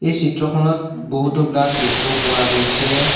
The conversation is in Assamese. এই চিত্ৰখনত বহুতো গ্লাচ দেখিব পোৱা গৈছে।